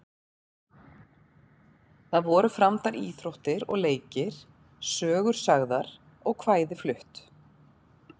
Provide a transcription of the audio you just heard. Þar voru framdar íþróttir og leikir, sögur sagðar og kvæði flutt.